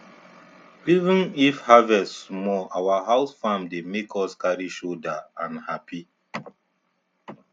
even if harvest small our house farm dey make us carry shouder and happy